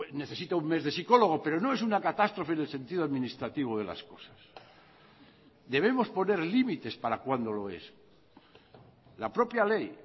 necesita un mes de psicólogo pero no es una catástrofe en el sentido administrativo de las cosas debemos poner límites para cuando lo es la propia ley